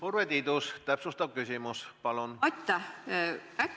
Urve Tiidus, täpsustav küsimus, palun!